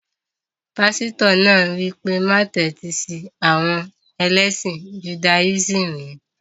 Pásítọ̀ náà wí pé, má tẹ́tí sí àwọn ẹlẹ́sìn judáyísìmì yẹn